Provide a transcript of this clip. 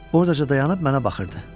Oradaca dayanıb mənə baxırdı.